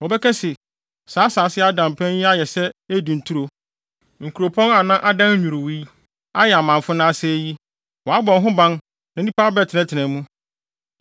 Wɔbɛka se, “Saa asase a ada mpan yi ayɛ sɛ Eden turo, nkuropɔn a na adan nnwiriwii, ayɛ amamfo na asɛe yi, wɔabɔ ho ban na nnipa abɛtenatena mu.”